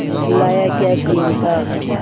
लाया क्या चिमटा